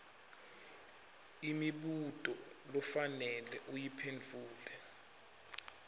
imibuto lofanele uyiphendvule